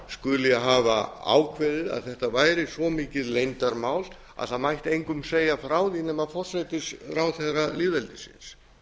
skuli hafa ákveðið að þetta væri svo mikið leyndarmál að það mætti engum segja frá því nema forsætisráðherra lýðveldisins